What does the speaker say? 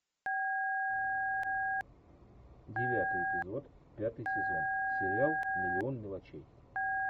девятый эпизод пятый сезон сериал миллион мелочей